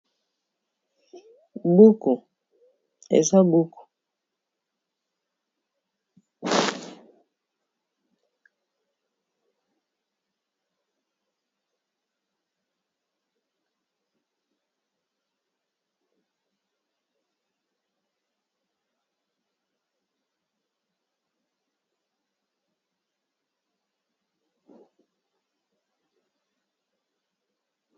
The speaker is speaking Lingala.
Buku eza buku, buku eza buku.